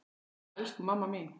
Mamma, elsku mamma mín.